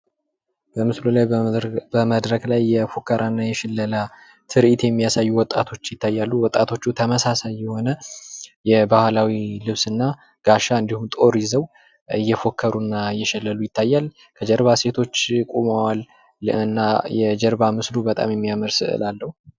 በምስሉ ላይ መድረክ ላይ የፉከራና ምለላ ትርኢት የሚያሳዩ ወጣቶች ይታያሉ። ወጣቶቹ ተመሳሳይ የሆነ የባህላዊ ልብስና እንዲሁም ጋሻና ጦር ይዘው እየፎከሩና እየሸለሉ ይታያል። በጀርባ ሴቶች ቁመዋል ።እና የጀርባ ስዕሉ በጣም የሚያምር ስዕል አለው።